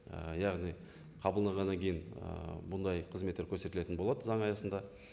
ііі яғни қабылданғаннан кейін ііі бұндай қызметтер көрсетілетін болады заң аясында